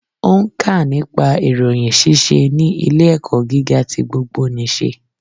Ó nkà nípa ìròyìn síse ní ilé ẹ̀kọ́ gíga ti gbogbo nìse